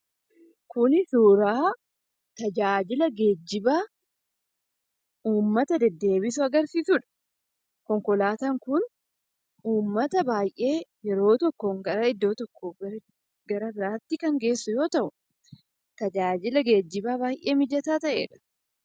Kuni suuraa tajaajila geejjibaa uummata deddeebisu agarsiisudha. Konkolaataan kun uummata baay'ee yeroo tokkoon garaa iddoo tokko gara iddoo biraatti kan geessu yoo ta'u, tajaajila geejjibaa baay'ee mijataa ta'edha.